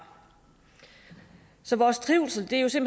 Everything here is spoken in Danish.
så vores trivsel trivsel